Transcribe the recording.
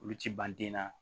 Olu ti ban den na